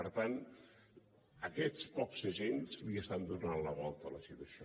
per tant aquests pocs agents li estan donant la volta a la situació